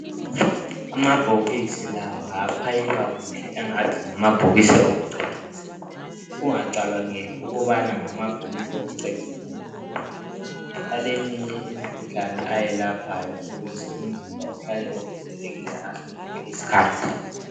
Amabhokisi lawa afakwe kuhle ngathi ngamabhokisi awokucecisa ungacabangeli ukuthi ngamabhokisi okucecisa kuphela ayelapha eminye imikhuhlane ukuze umzimba uhlale uvikelekile ngaso sonke iskhathi